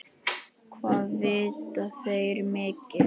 Hvað vita þeir mikið?